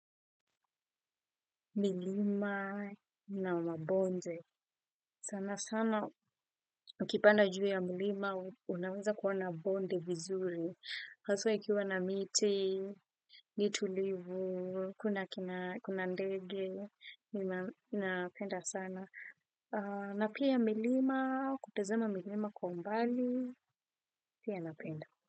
Milima na mabonde. Sana sana ukipanda juu ya mlima unaweza kuona bonde vizuri. Haswa ikiwa na miti, ni tulivu, kuna kina kuna ndege, nina napenda sana. Na pia milima, kutazema milima kwa umbali, pia napenda.